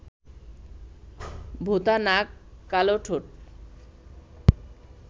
ভোঁতা নাক, কালো ঠোঁট